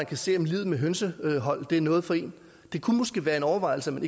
kan se om livet med hønsehold er noget for dem det kunne måske være en overvejelse værd